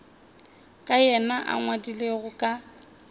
ka yena a ngwadilego ka